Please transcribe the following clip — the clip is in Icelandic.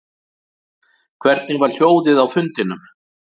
Hvernig var hljóðið á fundinum